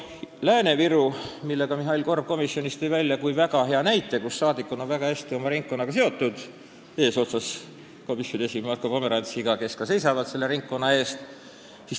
Lääne-Viru tõi Mihhail Korb komisjonis välja kui väga hea näite, kus saadikud eesotsas komisjoni esimehe Marko Pomerantsiga on väga tugevalt oma ringkonnaga seotud, nad seisavad selle ringkonna eest.